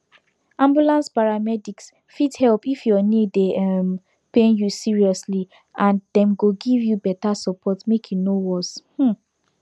ambulance paramedics fit help if your knee dey um pain you seriously and dem go give you better support make e no worse um